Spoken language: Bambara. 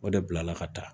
O de bilala ka taa